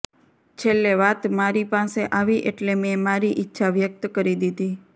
છેલ્લે વાત મારી પાસે આવી એટલે મેં મારી ઇચ્છા વ્યક્ત કરી દીધી